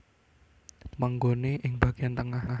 Panggone ing bagian tengah